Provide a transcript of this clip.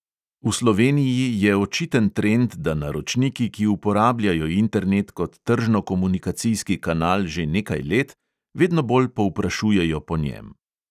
V sloveniji je očiten trend, da naročniki, ki uporabljajo internet kot tržnokomunikacijski kanal že nekaj let, vedno bolj povprašujejo po njem.